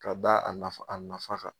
Ka da a nafa a nafa kan